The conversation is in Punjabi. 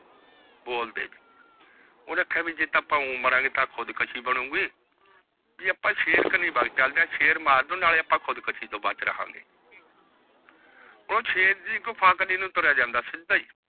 ਬੋਲ ਦੇ ਓਹਨੇ ਕਾਯਾ ਕੀ ਜੱਦ ਮਾਰਾਗੇ ਤੇਹ ਖੁਦ ਕਾਸ਼ੀ ਬਣੋਗੇ ਜੇ ਆਪਾ ਸ਼ੇਰ ਕਚੀ ਚਲਦੇ ਆਹ